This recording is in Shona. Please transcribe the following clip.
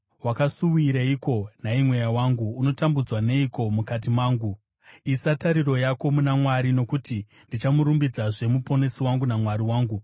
Wakasuwireiko, nhai mweya wangu? Unotambudzwa neiko mukati mangu? Isa tariro yako muna Mwari, nokuti ndichamurumbidzazve, Muponesi wangu naMwari wangu.